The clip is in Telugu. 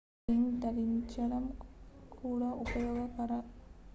1 రింగ్ ధరించడం కూడా ఉపయోగకరం ఖరీదైనదిగా కనిపించేదే కాకుండా